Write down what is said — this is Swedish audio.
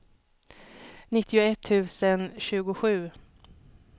nittioett tusen tjugosju